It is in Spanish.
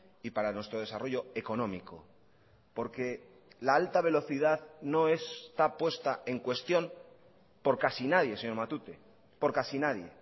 y para nuestro desarrollo económico porque la alta velocidad no está puesta en cuestión por casi nadie señor matute por casi nadie